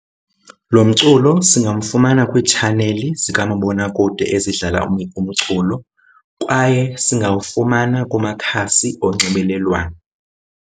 Lo mculo singamfumana kwiitshaneli zikamabonakude ezidlala umculo kwaye singawufumana kumakhasi onxibelelwano.